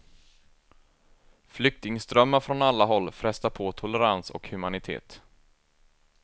Flyktingströmmar från alla håll frestar på tolerans och humanitet.